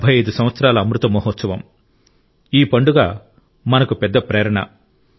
75 సంవత్సరాల అమృత మహోత్సవం ఈ పండుగ మనకు పెద్ద ప్రేరణ